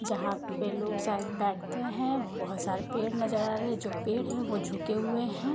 जहाँ पे लोग शायद बैठते हैं। बहुत सारे पेड़ नजर आ रहे हैं जो पेड़ हैं वो झुके हुए हैं।